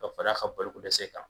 Ka fara a ka bolokodɛsɛ kan